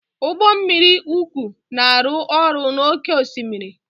Ụgbọ mmiri uku na-arụ ọrụ n'oké osimiri.